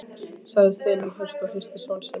sagði Steinunn höst og hristi son sinn.